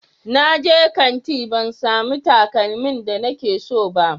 Na je kanti ban samu takalmin da nike so ba